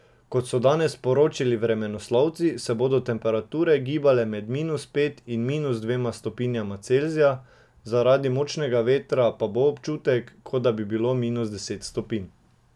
Kot so danes sporočili vremenoslovci, se bodo temperature gibale med minus pet in minus dvema stopnjama Celzija, zaradi močnega vetra pa bo občutek, kot da bi bilo minus deset stopinj.